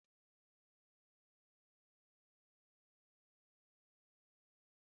Tomato akwọrọakwọ na-eme bọgar emere n'ụlọ dị ụtọ karịa